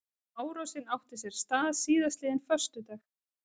Árásin átti sér stað síðastliðinn föstudag